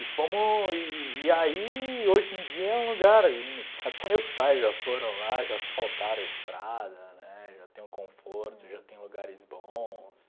E fomo, e e aí hoje em dia é um lugar, até meus pais já foram lá, já asfaltaram a estrada, né, já tem um conforto, já tem lugares bons.